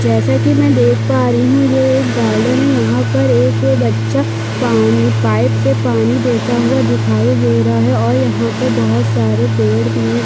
जैसा की मैं देख पा रही हूँ ये एक गार्डन है यहाँ पर एक बच्चा पानी पाइप से पानी देता दिखाई दे रहा है और यहाँ पर बहुत सारे पेड़ भी है।